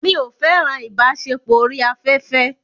Mi ò fẹ́ràn ìbáṣepọ̀ orí afẹ́fẹ́.